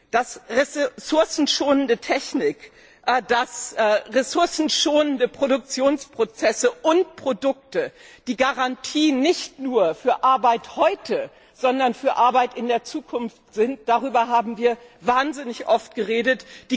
Dass ressourcenschonende Technik, dass ressourcenschonende Produktionsprozesse und Produkte die Garantie nicht nur für Arbeit heute, sondern für Arbeit in der Zukunft sind, darüber haben wir wahnsinnig oft geredet.